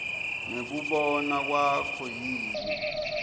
ngekubona kwakho yini